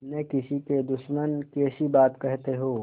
न किसी के दुश्मन कैसी बात कहते हो